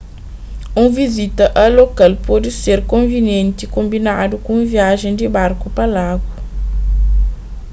un vizita a lokal pode ser konvinientimenti konbinadu ku un viajen di barku pa lagu